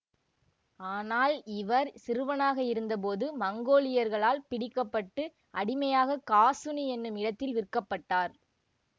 ஆனால் இவர் சிறுவனாக இருந்தபோது மங்கோலியர்களால் பிடிக்க பட்டு அடிமையாக காசுனி என்னும் இடத்தில் விற்கப்பட்டார்